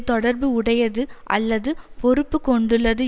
தொடர்பு உடையது அல்லது பொறுப்பு கொண்டுள்ளது